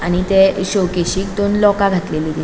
आणि ते शो केसिक दोन लोका घातलेली दि --